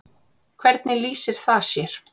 Hvernig lýsir það sér?